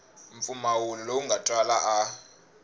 mpfumawulo lowu nga twala a